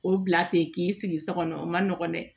O bila ten k'i sigi so kɔnɔ o man nɔgɔn dɛ